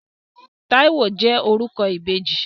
Táíwò jẹ́ orúkọ ìbejì.